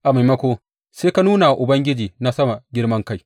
A maimakon, sai ka nuna wa Ubangiji na sama girman kai.